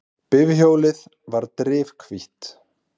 Bifhjólið var drifhvítt.